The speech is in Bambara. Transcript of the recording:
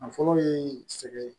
Nafolo ye sɛgɛn ye